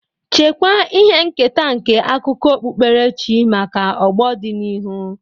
Chekwaa ihe nketa nke akụkọ okpukperechi maka ọgbọ dị n'ihu.